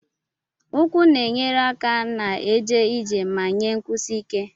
Ụkwụ na-enyere aka na-eje ije ma nye nkwụsi ike.